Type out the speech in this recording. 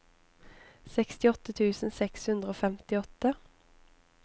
sekstiåtte tusen seks hundre og femtiåtte